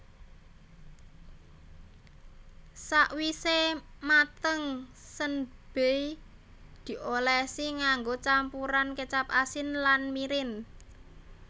Sawise mateng senbei diolesi nganggo campuran kecap asin lan mirin